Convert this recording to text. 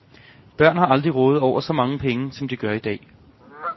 Børn har aldrig rådet over så mange penge, som de gør i dag.